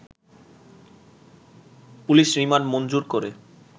police remand মঞ্জুর করে